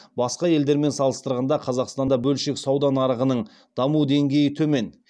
басқа елдермен салыстырғанда қазақстанда бөлшек сауда нарығының даму деңгейі төмен